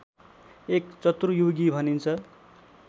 एक चतुर्युगी भनिन्छ